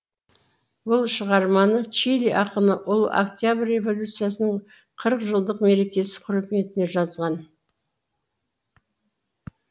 бұл шығарманы чили ақыны ұлы октябрь революциясының қырық жылдық мерекесі құрметіне жазған